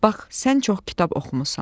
Bax, sən çox kitab oxumusan.